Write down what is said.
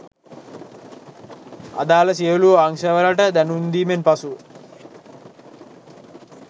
අදාළ සියලූ අංශවලට දැනුම් දීමෙන් පසු